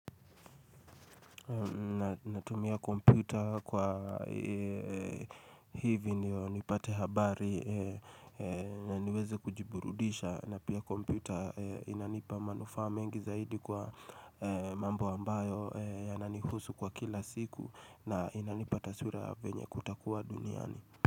Na tumia kompyuta kwa hivyo nipate habari na niweze kujiburudisha na pia kompyuta inanipa manufa mengi zaidi kwa mambo ambayo yanani husu kwa kila siku na inanipa taswira venye kutakuwa duniani.